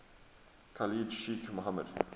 khalid sheikh mohammed